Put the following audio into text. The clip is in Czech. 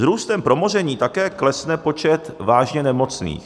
S růstem promoření také klesne počet vážně nemocných.